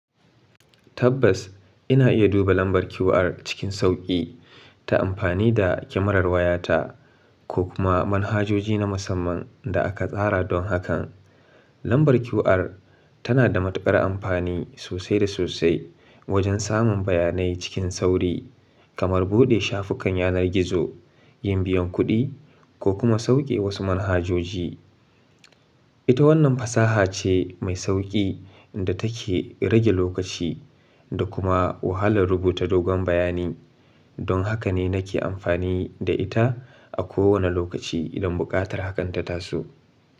Tabbas, ina iya duba lambar QR cikin sauƙi ta amfani da kyamarar wayata ko kuma manhajoji na musamman da aka tsara don hakan. Lambar QR tana da matukar amfani sosai da sosai wajen samun bayanai cikin sauri, kamar buɗe shafukan yanar gizo, yin biyan kuɗi, ko kuma sauƙe wasu manhajoji. Ita wannan fasaha ce mai sauƙi da take rage lokaci da kuma wahalar rubuta dogon bayani. Don haka ne nake amfani da ita a kowane lokaci idan buƙatar hakanta taso.